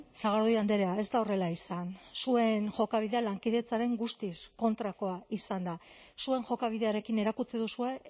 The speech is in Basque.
sagardui andrea ez da horrela izan zuen jokabidea lankidetzaren guztiz kontrakoa izan da zuen jokabidearekin erakutsi duzue